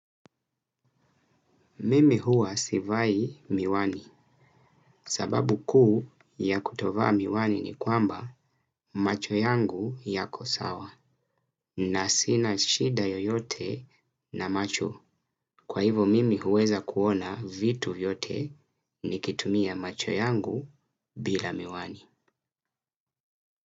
Mimi huwa sivai miwani sababu kuu ya kutovaa miwani ni kwamba macho yangu yako sawa na sina shida yoyote na macho kwa hivo mimi huweza kuona vitu yote nikitumia macho yangu bila miwani.